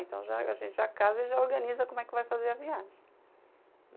Então, já, a gente já casa e já organiza como é que vai fazer a viagem.